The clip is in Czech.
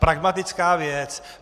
Pragmatická věc.